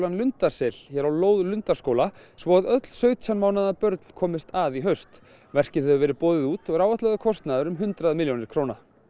Lundarsel á lóð Lundarskóla svo að öll sautján mánaða börn komist að í haust verkið hefur verið boðið út og er áætlaður kostnaður um hundrað milljónir